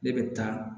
Ne bɛ taa